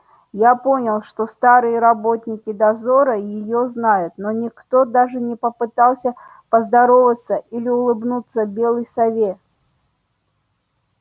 я понял что старые работники дозора её знают но никто даже не попытался поздороваться или улыбнуться белой сове